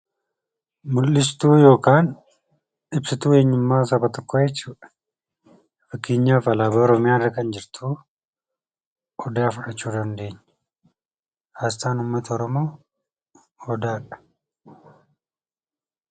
... mul'istuu yookaan ibsituu eenyummaa saba tokkoo jechuu dha. Fakkeenyaaf, alaabaa Oromiyaa irra kan jirtu Odaa fudhachuu dandeenya. Asxaan ummata Oromoo Odaa dha.